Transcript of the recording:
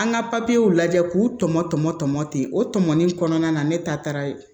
An ka papiyew lajɛ k'u tɔmɔ tɔmɔ tɔmɔ ten o tɔmɔ ni kɔnɔna na ne ta taara ye